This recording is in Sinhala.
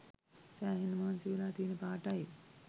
සෑහෙන්න මහන්සි වෙලා තියෙන පාටයි.